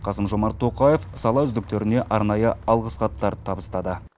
қасым жомарт тоқаев сала үздіктеріне арнайы алғыс хаттар табыстады